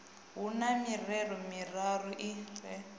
hu na mirero miraru ri